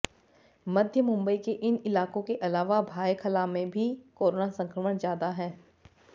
मध्य मुंबई के इन इलाकों के अलावा भायखला में भी कोरोना संक्रमण ज्यादा है